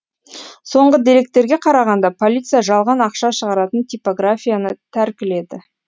соңғы деректерге қарағанда полиция жалған ақша шығаратын типографияны тәркіледі